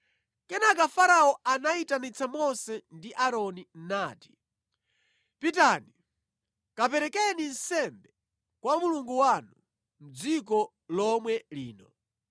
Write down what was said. Kenaka Farao anayitanitsa Mose ndi Aaroni nati, “Pitani kaperekeni nsembe kwa Mulungu wanu mʼdziko lomwe lino.”